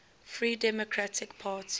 free democratic party